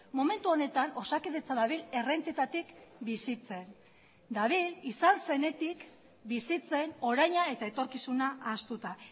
momentu honetan osakidetza dabil errentetatik bizitzen dabil izan zenetik bizitzen oraina eta etorkizuna ahaztuta